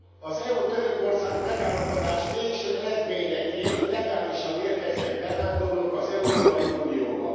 Az EU Törökország megállapodás végső eredményeként legálisan érkeznek bevándorlók az Európai Unióba.